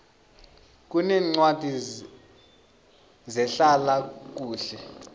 kuneencwadi zehlala kuhle